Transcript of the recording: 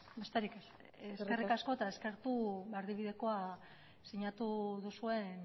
besterik ez eskerrik asko eta eskertu erdibidekoa sinatu duzuen